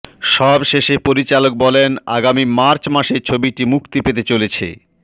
সবশেষে পরিচালক বলেন আগামী মার্চ মাসে ছবিটি মুক্তি পেতে চলেছে